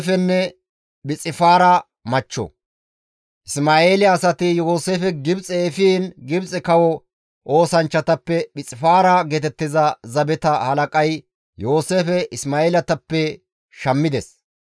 Isma7eele asati Yooseefe Gibxe efiin Gibxe kawo oosanchchatappe Phixifaara geetettiza zabeta halaqay Yooseefe Isma7eeletappe shammides.